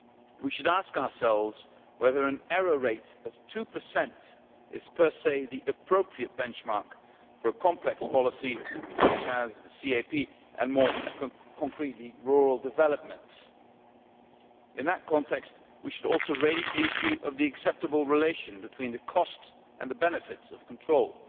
we should ask ourselves whether an error rate of 2 is, per se, the appropriate benchmark for a complex policy such as the CAP and, more concretely, rural development. In that context, we should also raise the issue of the acceptable relation between the cost and the benefits of controls.